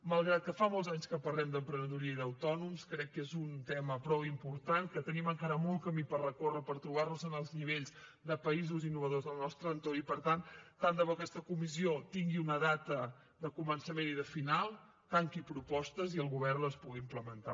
malgrat que fa molts anys que parlem d’emprenedoria i d’autònoms crec que és un tema prou important que tenim encara molt camí per recórrer per trobar nos en els nivells de països innovadors del nostre entorn i per tant tant de bo aquesta comissió tingui una data de començament i de final tanqui propostes i el govern les pugui implementar